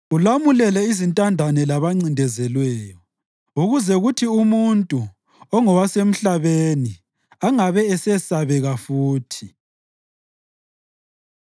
ulamulele izintandane labancindezelweyo, ukuze kuthi umuntu, ongowasemhlabeni, angabe esesabeka futhi.